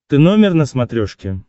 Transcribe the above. ты номер на смотрешке